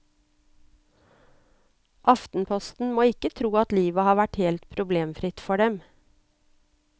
Aftenposten må ikke tro at livet har vært helt problemfritt for dem.